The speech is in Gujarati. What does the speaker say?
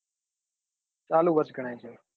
ચાલુ વર્ષ ગણાય છે